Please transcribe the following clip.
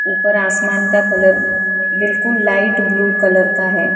ऊपर आसमान का कलर बिल्कुल लाइट ब्लू कलर का है।